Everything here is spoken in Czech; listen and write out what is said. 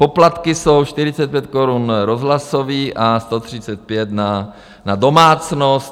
Poplatky jsou 45 korun rozhlasový a 135 na domácnost.